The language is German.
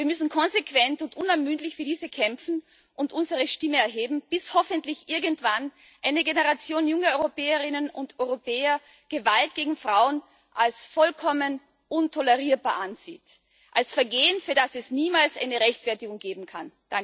Wir müssen konsequent und unermüdlich für diese Rechte kämpfen und unsere Stimme erheben, bis hoffentlich irgendwann eine Generation junger Europäerinnen und Europäer Gewalt gegen Frauen als vollkommen untolerierbar ansieht als Vergehen, für das es niemals eine Rechtfertigung geben kann.